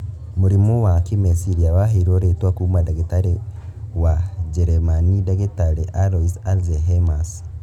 Mũrimũ wa kĩmeciria waheirwo rĩtwa kuma ndagĩtarĩ wa njeremani ndagĩtarĩ Alois Alzheimers